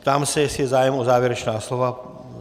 Ptám se, jestli je zájem o závěrečná slova.